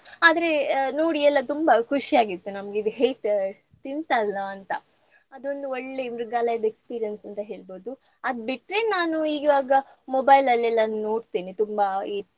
ಆದ್ರೆ ಆ ನೋಡಿ ಎಲ್ಲ ತುಂಬ ಖುಷಿಯಾಗಿತ್ತು ನಮ್ಗೆ ಇದು ಹೇಗ್ ತಿಂತಲ್ಲಾ ಅಂತಾ. ಅದೊಂದು ಒಳ್ಳೆ ಮೃಗಾಲಯದ experience ಅಂತ ಹೇಳ್ಬಹುದು. ಅದ್ ಬಿಟ್ರೆ ನಾನು ಇವಾಗ mobile ಅಲ್ಲಿ ಎಲ್ಲ ನೋಡ್ತೇನೆ ತುಂಬಾ ಈ.